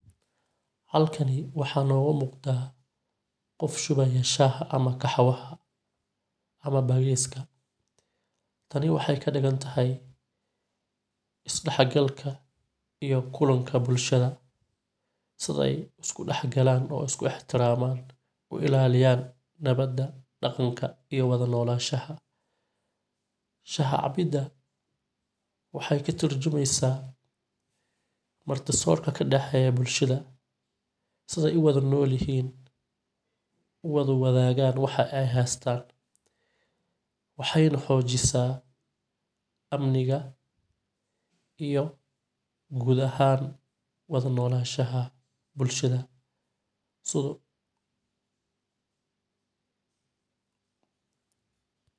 Halkani waxaa noga muqda qof shubaya shaaxa ama kaxwaha ama bagiyska. Tani waxay kadigantahy is daxgalka iyo kulanka bulshada siday isku daxgalaan oo isku ixtiramaan u ilaaliyaan nabada dhaqanka iyo wada nolashaha. Shax cabida waxay ka turjumeysa marti soorka kadaxeeya bulshada siday u wada nolyihiin u wada wadaagan waxa ay haastan waxayna xoojisa amniga iyo guud ahaan wada nolashaha bulshada sidu